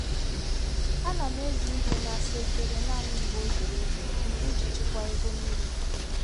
A na m eji igwe na-asa efere naanị mgbe ọ zuru ezu iji chekwaa ego mmiri.